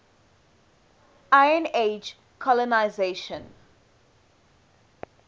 iron age colonisation